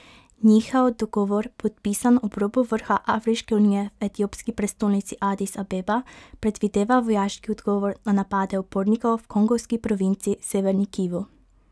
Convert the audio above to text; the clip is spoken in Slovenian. Njihov dogovor, podpisan ob robu vrha Afriške unije v etiopski prestolnici Adis Abeba, predvideva vojaški odgovor na napade upornikov v kongovski provinci Severni Kivu.